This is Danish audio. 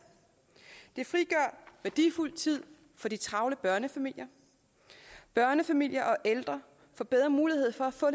det frigør værdifuld tid for de travle børnefamilier børnefamilier og ældre får bedre mulighed for at få